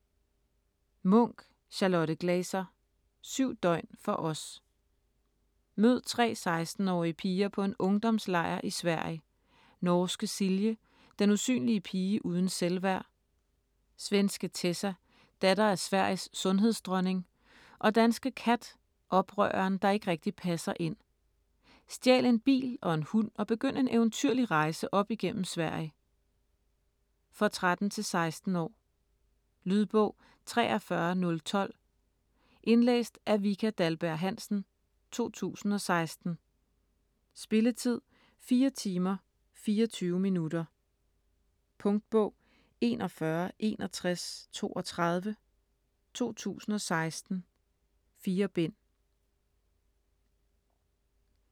Munch, Charlotte Glaser: 7 døgn for os Mød tre 16-årige piger på en ungdomslejr i Sverige: Norske Silje, den usynlige pige uden selvværd. Svenske Tessa, datter af Sveriges sundhedsdronning og danske Kat, oprøreren, der ikke rigtig passer ind. Stjæl en bil og en hund og begynd en eventyrlig rejse op igennem Sverige. For 13-16 år. Lydbog 43012 Indlæst af Vika Dahlberg-Hansen, 2016. Spilletid: 4 timer, 24 minutter. Punktbog 416132 2016. 4 bind.